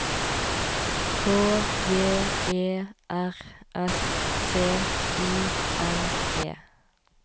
K J E R S T I N E